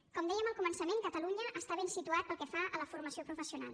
com dèiem al començament catalunya està ben situat pel que fa a la formació professional